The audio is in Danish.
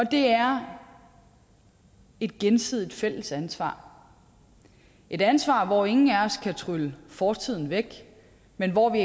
det er et gensidigt fælles ansvar et ansvar hvor ingen af os kan trylle fortiden væk men hvor vi